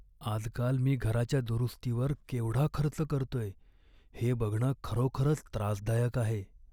आजकाल मी घराच्या दुरुस्तीवर केवढा खर्च करतोय हे बघणं खरोखरच त्रासदायक आहे.